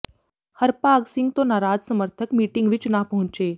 ਹਰਭਾਗ ਸਿੰਘ ਤੋਂ ਨਾਰਾਜ਼ ਸਮਰਥਕ ਮੀਟਿੰਗ ਵਿੱਚ ਨਾ ਪਹੁੰਚੇ